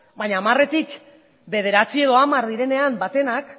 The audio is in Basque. baina hamarretik bederatzi edo hamar direnean batenak